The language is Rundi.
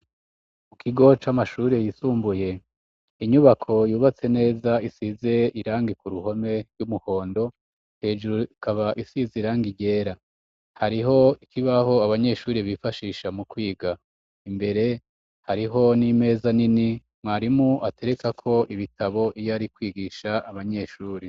Ikigo c'amashuri yisumbuye, inyubako yubatse neza isize irangi ku ruhome ry'umuhondo; hejuru ikaba isize irangi ryera. Hariho ikibaho abanyeshuri bifashisha mu kwiga. Imbere, hariho n'imeza nini mwarimu aterekako ibitabo iyo ari kwigisha abanyeshuri.